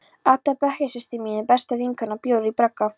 Adda, bekkjarsystir mín og besta vinkona, bjó í bragga.